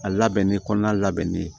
A labɛnni kɔnɔna labɛnnen ye